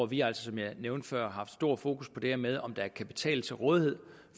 vi altså som jeg nævnte før haft stor fokus på det her med om der er kapital til rådighed